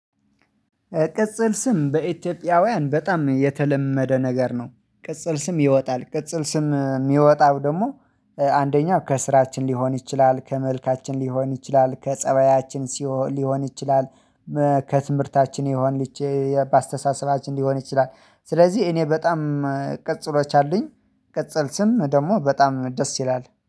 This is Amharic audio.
ቅጽል ስም በኢትዮጵያውያን በጣም የተለመደ ነገር ነው። ቅጽል ስም ይወጣል ቅጽል ስም የሚወጣው ደግሞ አንደኛው ከስራችን ሊሆን ይችላል ከመልካችን ሊሆን ይችላል ከፀባያችን ሲሆን ሊሆን ይችላል። ከትምህርታችን ሊሆን በአስተሳሰባችን ሊሆን ይችላል ስለዚህ እኔ በጣም ቅጽሎች አሉኝ። ቅጽል ስም ደግሞ በጣም ደስ ይላል